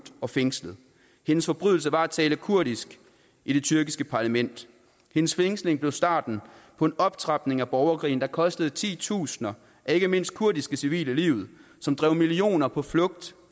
og fængslet hendes forbrydelse var at tale kurdisk i det tyrkiske parlament hendes fængsling blev starten på en optrapning af borgerkrigen der kostede titusinder af ikke mindst kurdiske civile livet som drev millioner på flugt